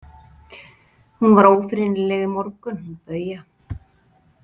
Hún var ófrýnileg í morgun, hún Bauja.